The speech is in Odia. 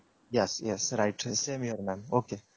yes yes same here mam right okey